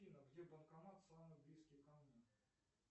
афина где банкомат самый близкий ко мне